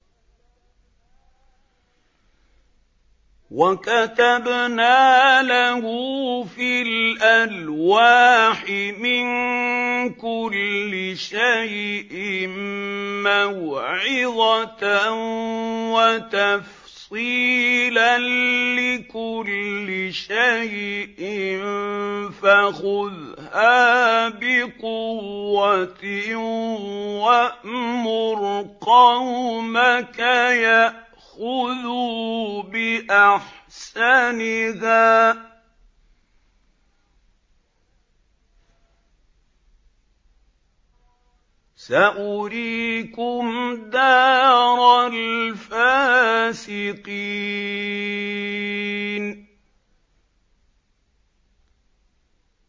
وَكَتَبْنَا لَهُ فِي الْأَلْوَاحِ مِن كُلِّ شَيْءٍ مَّوْعِظَةً وَتَفْصِيلًا لِّكُلِّ شَيْءٍ فَخُذْهَا بِقُوَّةٍ وَأْمُرْ قَوْمَكَ يَأْخُذُوا بِأَحْسَنِهَا ۚ سَأُرِيكُمْ دَارَ الْفَاسِقِينَ